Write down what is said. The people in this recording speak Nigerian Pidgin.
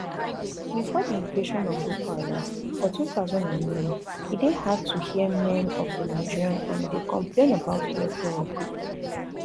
bifore di invasion of boko haram for two thousand and nine e dey hard to hear men of di nigeria army dey complain about welfare or equipment